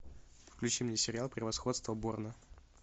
включи мне сериал превосходство борна